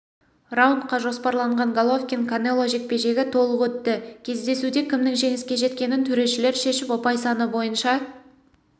раундқа жоспарланған головкин-канело жекпе-жегі толық өтті кездесуде кімнің жеңіске жеткенін төрешілер шешіп ұпай саны бойынша